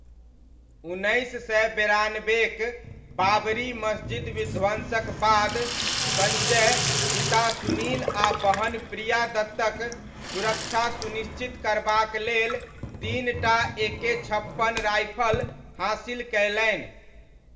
उन्नैस सय बेरानबेक बाबरी मस्जिद विध्वंसक बाद, सञ्जय पिता सुनील आ बहन प्रिया दत्तक सुरक्षा सुनिश्चित करबाक लेल तीनटा एके छप्पन राइफल हासिल कयलनि।